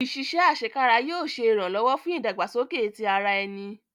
Iṣiṣẹ asekara yóò ṣe iranlọwọ fun idagbasoke ti ara ẹni